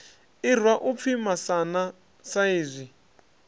irwa u pfi masana saizwi